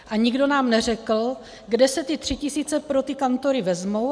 A nikdo nám neřekl, kde se ty tři tisíce pro ty kantory vezmou.